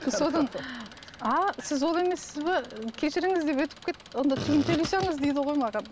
содан ааа сіз ол емессіз бе кешіріңіз деп өтіп кетіп онда тиын төлей салыңыз дейді ғой маған